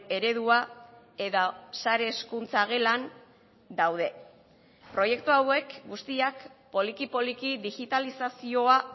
eredua eta sarehezkuntza gelan daude proiektu hauek guztiak poliki poliki digitalizazioa